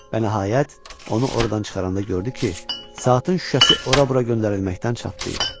Və nəhayət, onu ordan çıxaranda gördü ki, saatın şüşəsi ora-bura göndərilməkdən çatlayıb.